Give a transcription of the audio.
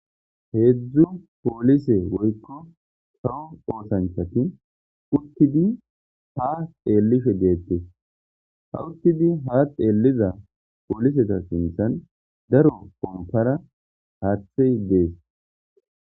''Heedzu poolise woykko kawo oothanchatii uttidi haa xeelishe deetes.ha uttidi haa xeeliza pooliseta sinthen daro pomppara haathey dees.''